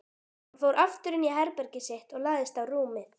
Hann fór aftur inní herbergið sitt og lagðist á rúmið.